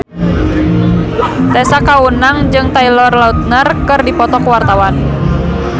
Tessa Kaunang jeung Taylor Lautner keur dipoto ku wartawan